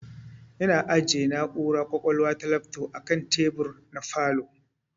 Ina ajiyeshi na'ura kwakwalwa ta lafto akan tebur na falow